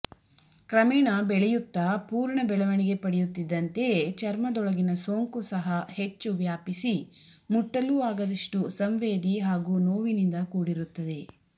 ಕ್ರಮೇಣ ಬೆಳೆಯುತ್ತಾ ಪೂರ್ಣಬೆಳವಣಿಗೆ ಪಡೆಯುತ್ತಿದ್ದಂತೆಯೇ ಚರ್ಮದೊಳಗಿನ ಸೋಂಕು ಸಹಾ ಹೆಚ್ಚು ವ್ಯಾಪಿಸಿ ಮುಟ್ಟಲೂ ಆಗದಷ್ಟು ಸಂವೇದಿ ಹಾಗೂ ನೋವಿನಿಂದ ಕೂಡಿರುತ್ತದೆ